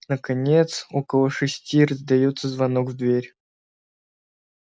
наконец около шести раздаётся звонок в дверь